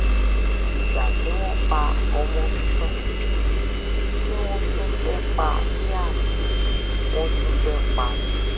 ìgbà tí wọ́n pa ọmọ mi tán tí wọ́n tún fẹ́ẹ́ pa liam wọ́n tún fẹ́ẹ́ pa mí